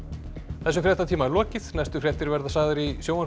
þessum fréttatíma er lokið næstu fréttir verða sagðar í sjónvarpi